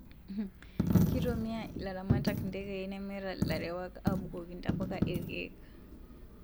Kitumia ilaramatak ntekei nemeeta ilarewak abukoki ntapuka irkeek